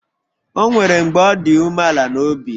O nwere mgbe ọ dị umeala n'obi